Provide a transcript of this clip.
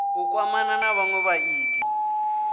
u kwamana na vhanwe vhaiti